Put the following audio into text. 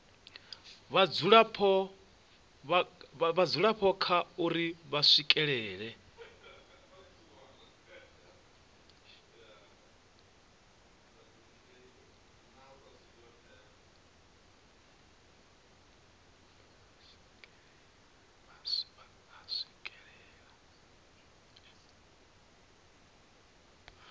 vhadzulapo kha uri vha swikelela